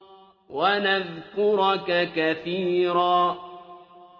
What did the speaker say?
وَنَذْكُرَكَ كَثِيرًا